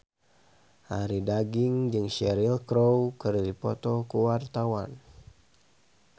Arie Daginks jeung Cheryl Crow keur dipoto ku wartawan